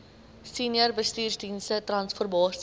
senior bestuursdienste transformasie